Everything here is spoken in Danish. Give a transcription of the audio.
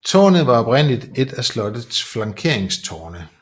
Tårnet var oprindelig et af slottets flankeringstårne